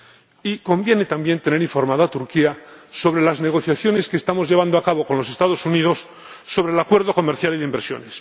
Y conviene, también, tener informada a Turquía de las negociaciones que estamos llevando a cabo con los Estados Unidos sobre el acuerdo de comercio e inversión.